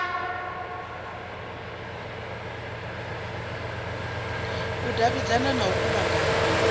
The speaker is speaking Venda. u davhidzana na u kuvhanganya